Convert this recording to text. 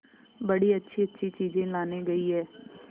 बड़ी अच्छीअच्छी चीजें लाने गई है